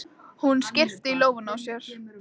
Hún skyrpir í lófana á sér.